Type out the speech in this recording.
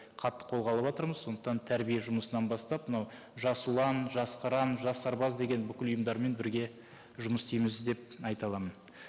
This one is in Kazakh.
қатты қолға алыватырмыз сондықтан тәрбие жұмысынан бастап мынау жас ұлан жас қыран жас сарбаз деген бүкіл ұйымдармен бірге жұмыс істейміз деп айта аламын